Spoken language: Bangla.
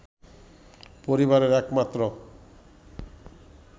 পরিবারের এক মাত্র